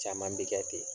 Caman bi kɛ ten